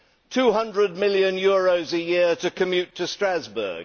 Two hundred million euros a year to commute to Strasbourg